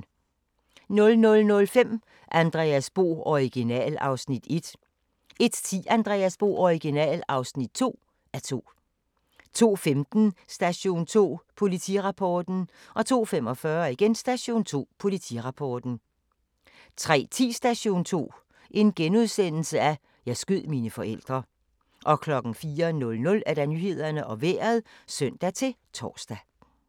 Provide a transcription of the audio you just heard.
00:05: Andreas Bo - Original (1:2) 01:10: Andreas Bo - Original (2:2) 02:15: Station 2: Politirapporten 02:45: Station 2: Politirapporten 03:10: Station 2: Jeg skød mine forældre * 04:00: Nyhederne og Vejret (søn-tor)